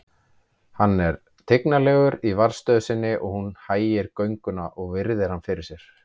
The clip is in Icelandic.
Hann er tignarlegur í varðstöðu sinni og hún hægir gönguna og virðir hann fyrir sér.